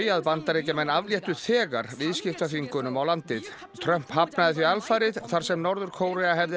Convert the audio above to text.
að Bandaríkjamenn afléttu þegar viðskiptaþvingunum á landið Trump hafnaði því alfarið þar sem Norður Kórea hefði